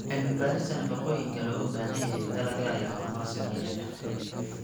Cilmi-baarista nafaqooyinka looga baahan yahay dalagga ayaa horumar sameynaya.